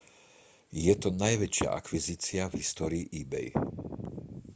je to najväčšia akvizícia v histórii ebay